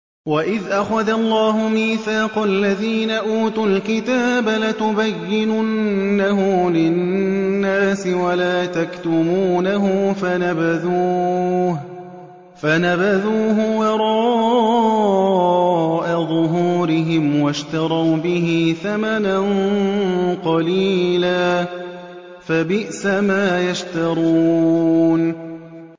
وَإِذْ أَخَذَ اللَّهُ مِيثَاقَ الَّذِينَ أُوتُوا الْكِتَابَ لَتُبَيِّنُنَّهُ لِلنَّاسِ وَلَا تَكْتُمُونَهُ فَنَبَذُوهُ وَرَاءَ ظُهُورِهِمْ وَاشْتَرَوْا بِهِ ثَمَنًا قَلِيلًا ۖ فَبِئْسَ مَا يَشْتَرُونَ